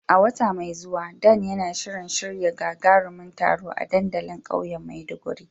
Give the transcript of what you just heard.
Wata mai zuwa, Dan yana shirin shirya gagarumin taro a dandalin kauyen Maiduguri.